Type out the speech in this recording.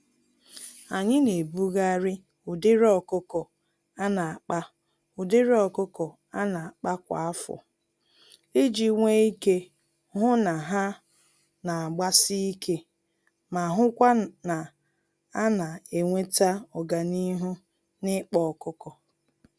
Anyị naebugharị ụdịrị ọkụkọ ana-akpa ụdịrị ọkụkọ ana-akpa kwa afọ, iji nwe ike hụ na ha nagbasi ike, ma hụkwa na ana enweta ọganihu nikpa ọkụkọ